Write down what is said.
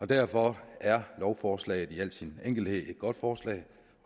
derfor er lovforslaget i al sin enkelhed et godt forslag